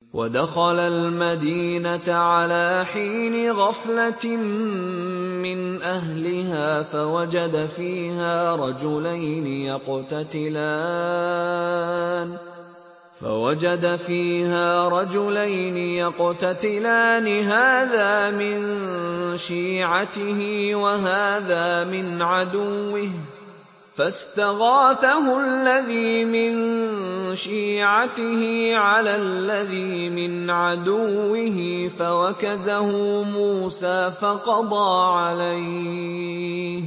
وَدَخَلَ الْمَدِينَةَ عَلَىٰ حِينِ غَفْلَةٍ مِّنْ أَهْلِهَا فَوَجَدَ فِيهَا رَجُلَيْنِ يَقْتَتِلَانِ هَٰذَا مِن شِيعَتِهِ وَهَٰذَا مِنْ عَدُوِّهِ ۖ فَاسْتَغَاثَهُ الَّذِي مِن شِيعَتِهِ عَلَى الَّذِي مِنْ عَدُوِّهِ فَوَكَزَهُ مُوسَىٰ فَقَضَىٰ عَلَيْهِ ۖ